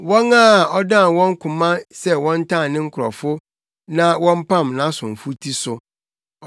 wɔn a ɔdan wɔn koma sɛ wɔntan ne nkurɔfo na wɔmpam nʼasomfo ti so.